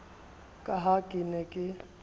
ka ha ke ne ke